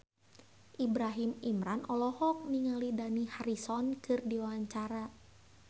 Ibrahim Imran olohok ningali Dani Harrison keur diwawancara